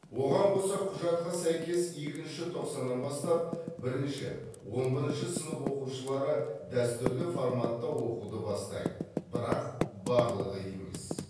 оған қоса құжатқа сәйкес екінші тоқсаннан бастап бірінші он бірінші сынып оқушылары дәстүрлі форматта оқуды бастайды бірақ барлығы емес